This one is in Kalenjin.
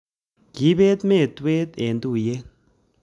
Kiibet mentgwet emg tuiyet